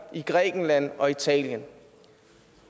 i grækenland og italien